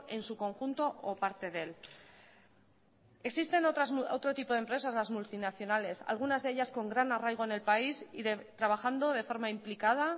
en su conjunto o parte de él existen otro tipo de empresas las multinacionales algunas de ellas con gran arraigo en el país y trabajando de forma implicada